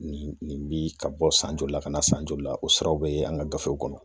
Nin nin be ka bɔ san joli la ka na san joli la o siraw be ye an ka gafew kɔnɔ .